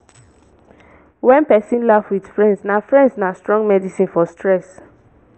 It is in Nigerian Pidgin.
when person laugh with friends na friends na strong medicine for stress